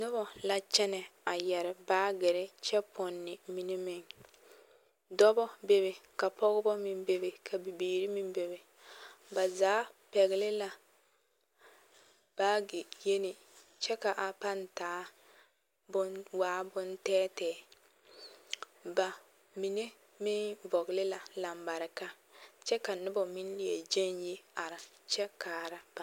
Noba la kyɛnɛ a yɛre baaɡere kyɛ pɔne mine meŋ dɔbɔ bebe ka pɔɡebɔ meŋ bebe ka bibiiri meŋ bebe ba zaa pɛɡele la baaɡe yeme kyɛ ka a pãã waa bontɛɛtɛɛ ba mine meŋ vɔɡele la alambareka kyɛ ka noba meŋ leɛ ɡyaɡe yi are kaara ba.